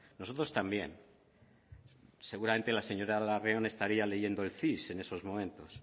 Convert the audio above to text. nosotros también seguramente la señora larrión estaría leyendo el cis en esos momentos